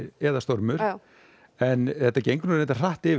eða stormur en þetta gengur líka hratt yfir